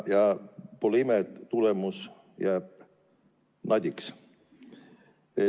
Pole ime, et tulemus jääb nadiks.